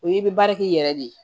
O ye i bɛ baara k'i yɛrɛ de ye